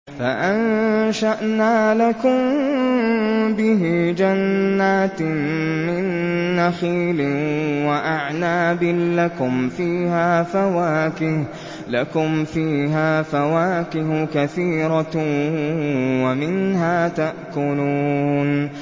فَأَنشَأْنَا لَكُم بِهِ جَنَّاتٍ مِّن نَّخِيلٍ وَأَعْنَابٍ لَّكُمْ فِيهَا فَوَاكِهُ كَثِيرَةٌ وَمِنْهَا تَأْكُلُونَ